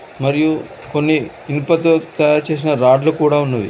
మరియు కొన్ని ఇనుపతో తయారు చేసిన రాడ్లు కూడా ఉన్నవి.